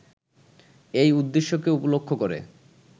এই উদ্দেশ্যকে উপলক্ষ করে